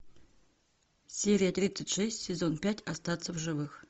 серия тридцать шесть сезон пять остаться в живых